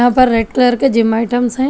ऊपर red colour के gym items है।